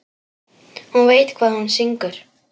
Hún veit hvað hún syngur.